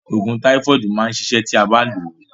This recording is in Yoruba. Òògùn táífọ̀dù máa ṣiṣẹ́ ti ó bá lòó.